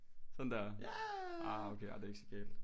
Sådan der ah okay ej det er ikke så galt